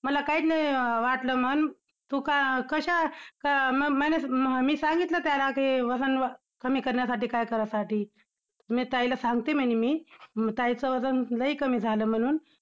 मला काहीच नाही अं वाटलं म्हणून तू का कशा~का~ मी सांगितलं त्याला कि वजन कमी करण्यासाठी काय करायसाठी. मी ताईला सांगते म्हणे मी, ताईचं वजन लय कमी झालं म्हणून!